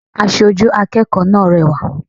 Asojú akẹ́kọ̀ọ́ náà rẹwà